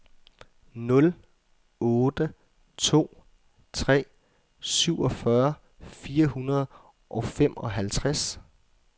nul otte to tre syvogfyrre fire hundrede og femoghalvtreds